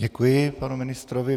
Děkuji panu ministrovi.